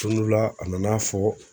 Ton dɔ la a nana fɔ